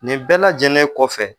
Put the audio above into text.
Nin bɛɛ lajɛlen kɔfɛ